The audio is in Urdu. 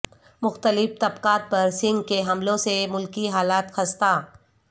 مختلف طبقات پر سنگھ کے حملوں سے ملکی حالت خستہ